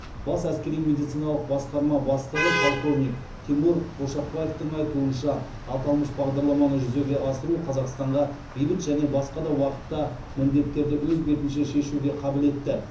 бас әскери медициналық басқарма бастығы полковник тимур ошақбаевтың айтуынша аталмыш бағдарламаны жүзеге асыру қазақстанға бейбіт және басқа да уақытта міндеттерді өз бетінше шешуге қабілетті